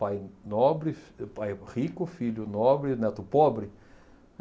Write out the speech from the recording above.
Pai nobre, fi, pai rico, filho nobre, neto pobre.